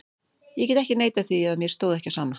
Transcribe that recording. Ég get ekki neitað því að mér stóð ekki á sama.